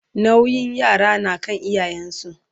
nauyin yara na kan iyayen su